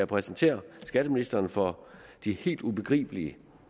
præsentere skatteministeren for de helt ubegribelig